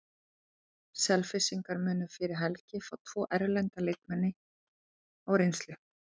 Selfyssingar munu fyrir helgi fá tvo erlenda leikmenn á reynslu.